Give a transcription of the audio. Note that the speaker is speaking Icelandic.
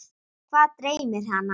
Hvað dreymir hana?